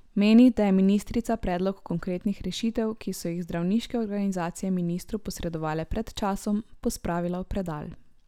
Meni, da je ministrica predlog konkretnih rešitev, ki so jih zdravniške organizacije ministrstvu posredovale pred časom, pospravila v predal.